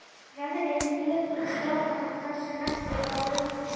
Veðrið lék við strákana það sem eftir var vikunnar.